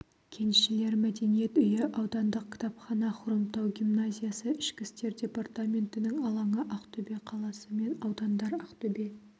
кеншілер мәдениет үйі аудандық кітапхана хромтау гимназиясы ішкі істер департаментінің алаңы ақтөбе қаласы мен аудандар ақтөбе